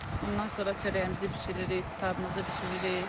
Ondan sonra çörəyimizi bişiririk, qutabımızı bişiririk.